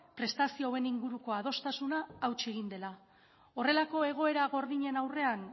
prestazio hauen inguruko adostasuna hautsi egin dela horrelako egoera gordinen aurrean